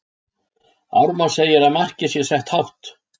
Ármann segir að markið sé sett hátt.